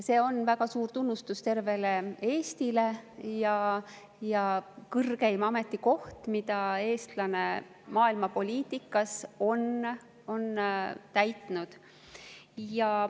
See on väga suur tunnustus tervele Eestile ja kõrgeim ametikoht, mida eestlane maailmapoliitikas on täitnud.